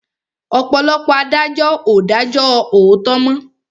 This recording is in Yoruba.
Ọ̀pọ̀lọpọ̀ adájọ́ ò dájó òòtó mọ́.